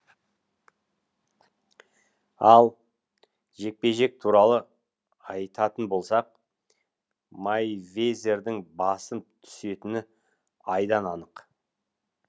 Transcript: ал жекпе жек туралы айтатын болсақ мейвезердің басым түсетіні айдан анық